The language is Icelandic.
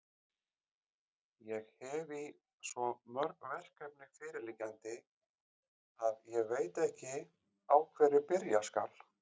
Ég hefi svo mörg verkefni fyrirliggjandi, að ég veit ekki, á hverju byrja skal.